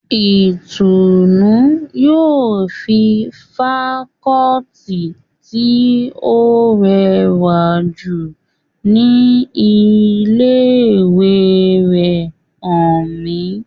Ìtùnnú yóò fi fakọọti tí ó rẹwà jù ní ilé ìwé rẹ̀ hàn mí